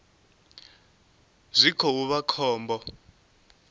zwi khou vha zwa khombo